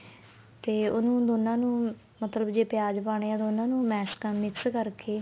ਤੇ ਉਹਨੂੰ ਦੋਨਾ ਨੂੰ ਮਤਲਬ ਜੇ ਪਿਆਜ ਪਾਣੇ ਏ ਦੋਨਾ ਨੂੰ mash ਕਰ mix ਕਰਕੇ